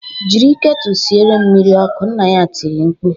Jịrị ketụ siere m mmiri ọkụ" nna ya tiri mkpu